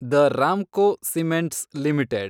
the Ramco cements limited